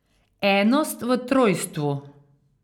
Enost v trojstvu.